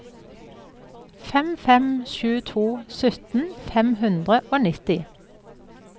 fem fem sju to sytten fem hundre og nitti